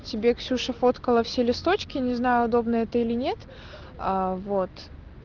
тебе ксюша фоткала все листочки не знаю удобно это или нет аа вот